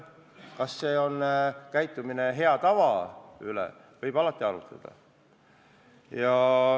Kas selline käitumine vastab heale tavale, selle üle võib alati arutleda.